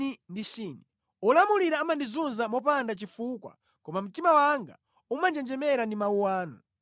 Olamulira amandizunza popanda chifukwa, koma mtima wanga umanjenjemera ndi mawu anu.